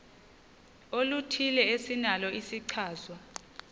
oluthile esinalo isichazwa